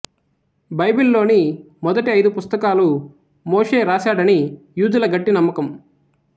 బైబిల్లోని మొదటి ఐదు పుస్తకాలు మోషే రాశాడని యూదుల గట్టి నమ్మకం